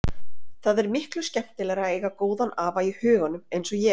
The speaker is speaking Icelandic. Það er miklu skemmtilegra að eiga góðan afa í huganum eins og ég.